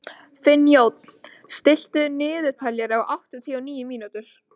Finnjón, stilltu niðurteljara á áttatíu og níu mínútur.